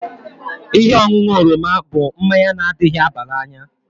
Ihe ọṅụṅụ oroma bụ mmanya na adịghị aba n'anya